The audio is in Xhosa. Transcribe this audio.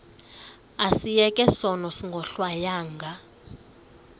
asiyeke sono smgohlwaywanga